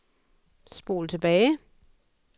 spol tilbage